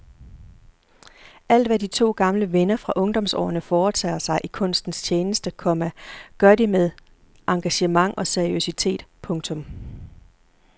Alt hvad de to gamle venner fra ungdomsårene foretager sig i kunstens tjeneste, komma gør de med engagement og seriøsitet. punktum